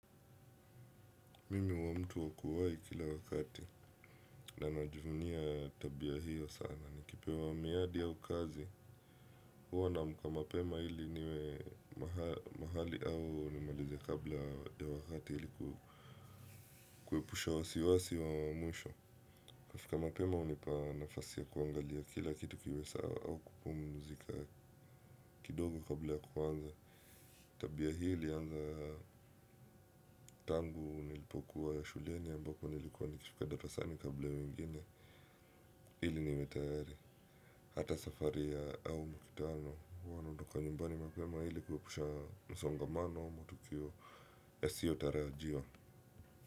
Mimi huwa mtu wakuwai kila wakati na najivunia tabia hiyo sana. Ni kipewa miadi au kazi. Huwa namka mapema hili niwe mahali au nimalize kabla ya wakati hili kuwepusha wasiwasi wa mwisho. Kufika mapema unipa nafasi ya kuangalia kila kitu kiwe sawa au kupumuzika kidogo kabla ya kuanza. Tabia hili anza tangu nilipokuwa ya shuliani ambako nilikuwa nikifika darasani kabla wengine. Hili niwe tayari hata safari ya au mukitano huanaodoka nyumbani mapema hili kuepusha msongamano wa matukio yasio tarajiwa.